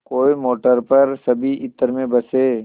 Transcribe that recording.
कोई मोटर पर सभी इत्र में बसे